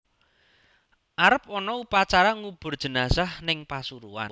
Arep ono upacara ngubur jenazah ning Pasuruan